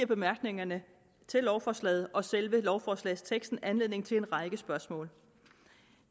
bemærkningerne til lovforslaget og selve lovforslagsteksten anledning til en række spørgsmål